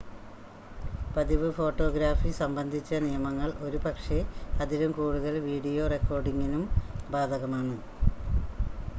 പതിവ് ഫോട്ടോഗ്രാഫി സംബന്ധിച്ച നിയമങ്ങൾ ഒരുപക്ഷെ അതിലും കൂടുതൽ വീഡിയോ റെക്കോർഡിംഗിനും ബാധകമാണ്